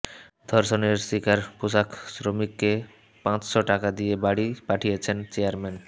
ধর্ষণের শিকার পোশাক শ্রমিককে পাঁচশ টাকা দিয়ে বাড়ি পাঠিয়েছেন চেয়ারম্যান